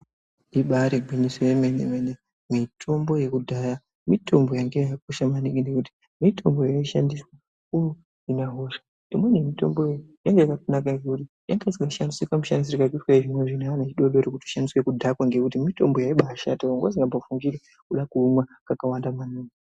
Ibari gwinyiso yomene mene mitombo yekudhaya mitombo yanga yakakosha maningi nekuti mitombo yaishandiswe kuhina hosha imweni yemitombo yangayakanaka ngekuti yanga isingashandiswi kamushandisirwo karikuitwe yechizvino zvino neaanhu achidodori kushandise kudhakwa ngekuti mitombo yaibashata wanga usingambofungiri kuda kuimwa kakawanda maningi.